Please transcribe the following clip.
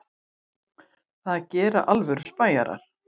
Það gera alvöru spæjarar.